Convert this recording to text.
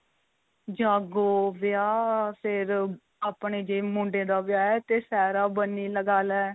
ਜਾਗੋ ਵਿਆਹ ਫ਼ਿਰ ਆਪਣੇ ਜੇ ਮੁੰਡੇ ਦਾ ਵਿਆਹ ਏ ਤੇ ਸਹਿਰਾ ਬੰਦੀ ਲੱਗਾ ਲੈ